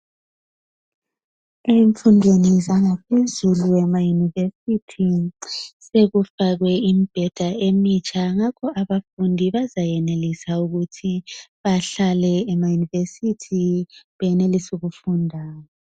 Emfundweni zangaphezulu emayunivesithi sokufakwe imbheda emitsha ngakho abafundi bazayenelisa ukuthi bahlale emayunivesithi benelise ukufunda.